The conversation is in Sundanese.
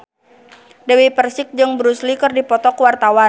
Dewi Persik jeung Bruce Lee keur dipoto ku wartawan